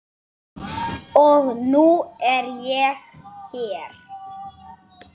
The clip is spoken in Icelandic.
Og nú er ég hér!